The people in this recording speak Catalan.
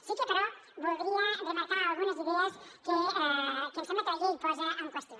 sí que però voldria remarcar algunes idees que ens sembla que la llei posa en qüestió